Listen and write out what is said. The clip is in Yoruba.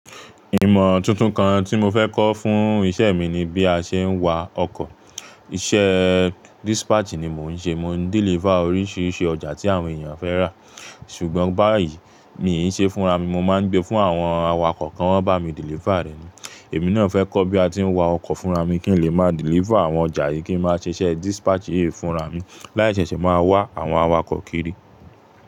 Ìmọ̀ tuntun kan tí mo fẹ́ kọ́ fún iṣẹ́ mi ni bí a ṣe ń wa ọkọ̀. Iṣẹ́ dispatch ni mò ń ṣe. Mo ń deliver oríṣiríṣi ọjà tí àwọn èèyàn fẹ́ rà. Ṣùgbọ́n báyìí, mi i ṣe fúnra mi, mo máa ń gbé fún àwọn awakọ̀ kan, wọ́n ń bá mi deliver rẹ̀. Èmi náà fẹ́ kọ́ bí a ti ń wa ọkọ̀ fúnra mi kí n lè máa deliver àwọn ọjà yìí, kí n máa ṣe iṣẹ́ dispatch yìí fúnra mi. Láì ṣẹ̀ṣẹ̀ máa wá àwọn awakọ̀ kiri.